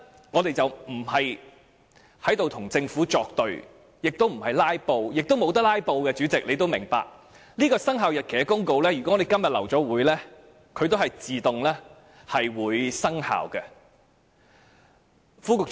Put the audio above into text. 我們不是要與政府作對，亦不想"拉布"，主席也明白，如果今天的會議最後流會，這項生效日期公告也會自動生效。